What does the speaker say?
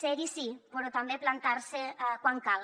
ser hi sí però també plantar se quan cal